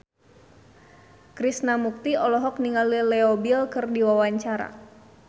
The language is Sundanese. Krishna Mukti olohok ningali Leo Bill keur diwawancara